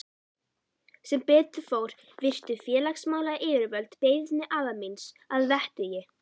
Sem betur fór virtu félagsmálayfirvöld beiðni afa míns að vettugi.